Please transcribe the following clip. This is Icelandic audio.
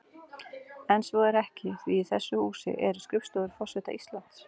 En svo er ekki því í þessu húsi eru skrifstofur forseta Íslands.